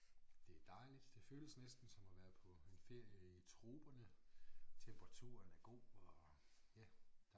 Det dejligt det føles næsten som at være på en ferie i troperne temperaturen er god og ja